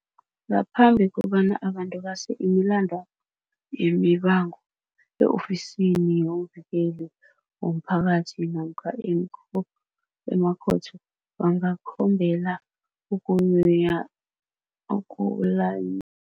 Ngaphambi kobana abantu base imilandwabo yemibango e-Ofisini yomVikeli womPhakathi namkha emakhotho, bangakhombela ukulanyulelwa ukulanyu